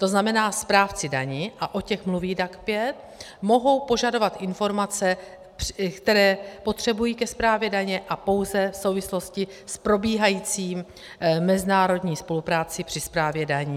To znamená, správci daní, a o těch mluví DAC 5, mohou požadovat informace, které potřebují ke správě daně a pouze v souvislosti s probíhající mezinárodní spolupráci při správě daní.